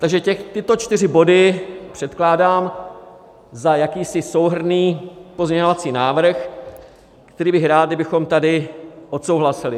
Takže tyto čtyři body předkládám za jakýsi souhrnný pozměňovací návrh, který bych rád, kdybychom tady odsouhlasili.